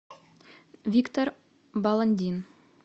виктор баландин